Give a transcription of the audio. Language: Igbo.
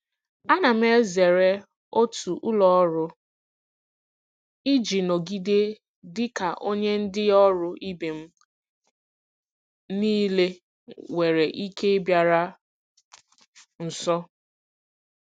Ana m ezere otu ụlọ ọrụ iji nọgide dị ka onye ndị ọrụ ibe m niile nwere ike ịbịaru nso.